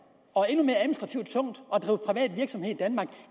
og endnu mere administrativt tungt at virksomhed